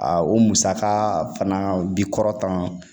A o musaka fana bi kɔrɔtan